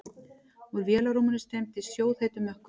Úr vélarrúminu streymdi sjóðheitur mökkur.